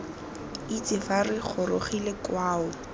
itse fa re gorogile kwao